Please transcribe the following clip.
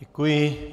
Děkuji.